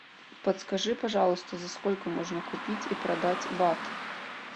подскажи пожалуйста за сколько можно купить и продать бат